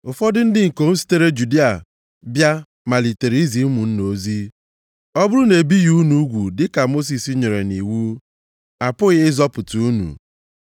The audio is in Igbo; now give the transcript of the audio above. Ụfọdụ ndị ikom sitere Judịa bịa malitere izi ụmụnna ozi, “Ọ bụrụ na e bighị unu ugwu dịka Mosis nyere nʼiwu, a pụghị ịzọpụta unu.”